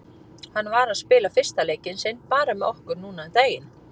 Hann var að spila fyrsta leikinn sinn bara með okkur núna um daginn.